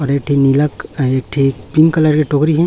और एक ठे नीला के टोकरी हैं।